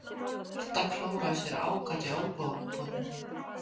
Marta klóraði sér ákaft í olnbogabótinni.